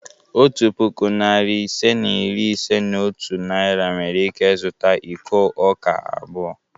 Otu puku, narị ise na iri ise na otu Naira nwere ike zụta iko ọka abụọ.